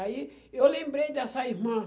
Aí eu lembrei dessa irmã.